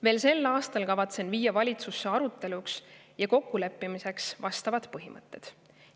Veel sel aastal kavatsen viia valitsusse aruteluks ja kokkuleppimiseks vastavad põhimõtted.